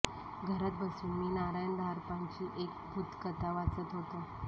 घरात बसून मी नारायण धारपांची एक भूतकथा वाचत होतो